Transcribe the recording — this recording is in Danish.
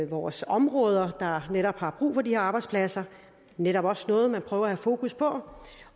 vores områder der netop har brug for de her arbejdspladser netop også noget man prøver at have fokus på